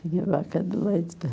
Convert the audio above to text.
Tinha vaca de leite.